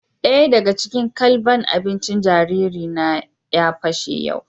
Daya daga cikin ƙwalɓan abincin jariri na ya pashe yau